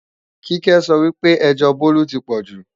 Kíkẹ́ sọ wí pé ẹjọ́ Bólú ti pọ̀jù